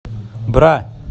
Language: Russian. бра